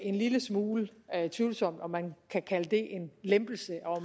en lille smule tvivlsomt om man kan kalde det en lempelse og